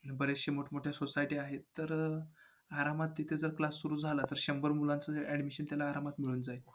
बऱ्याचशा मोठमोठ्या societies आहेत. तर, आरामात तिथे जर class सुरू झाला तर शंभर मुलांचे admission त्यांना आरामात मिळून जाईल.